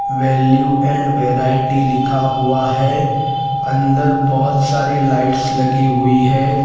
Value and variety लिखा हुआ है अंदर बहोत सारी लाइट्स लगी हुई है।